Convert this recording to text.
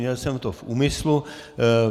Měl jsem to v úmyslu.